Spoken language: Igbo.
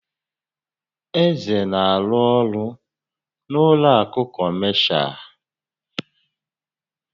Eze na-arụ ọrụ n'ụlọ àkụ̀ kọmashal.